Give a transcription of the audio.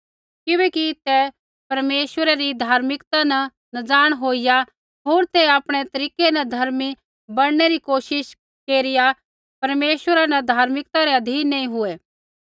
किबैकि तै परमेश्वरा री धार्मिकता न नज़ाण होईया होर तै आपणै तरीकै न धर्मी बणनै री कोशिश केरा केरिया परमेश्वरा री धार्मिकता रै अधीन नैंई हुऐ